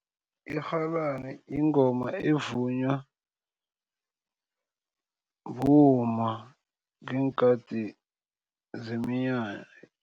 Irhalani yingoma evunywa bomma ngeenkhathi zeminyanya.